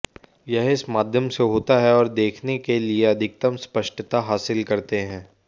यह इस माध्यम से होता है और देखने के लिए अधिकतम स्पष्टता हासिल करते हैं